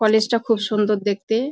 College -টা খুব সুন্দর দেখতে-এ ।